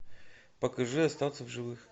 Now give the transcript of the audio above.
покажи остаться в живых